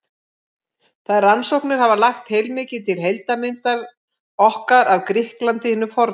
Þær rannsóknir hafa lagt heilmikið til heildarmyndar okkar af Grikklandi hinu forna.